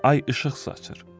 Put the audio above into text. Ay işıq saçır.